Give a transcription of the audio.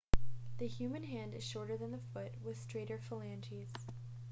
the human hand is shorter than the foot with straighter phalanges